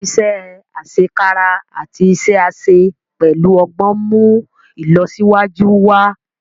iṣé asekara àti iṣé àṣẹ pẹlú ogbón nmú ilọsiwaju wá.